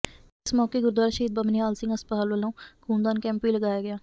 ਇਸ ਮੌਕੇ ਗੁਰਦੁਆਰਾ ਸ਼ਹੀਦ ਬਾਬਾ ਨਿਹਾਲ ਸਿੰਘ ਹਸਪਤਾਲ ਵੱਲੋਂ ਖੂਨਦਾਨ ਕੈਂਪ ਵੀ ਲਗਾਇਆ ਗਿਆ